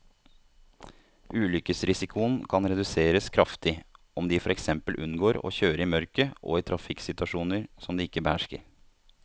Ulykkesrisikoen kan reduseres kraftig om de for eksempel unngår å kjøre i mørket og i trafikksituasjoner som de ikke behersker.